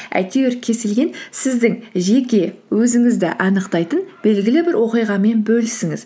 әйтеуір кез келген сіздің жеке өзіңізді анықтайтын белгілі бір оқиғамен бөлісіңіз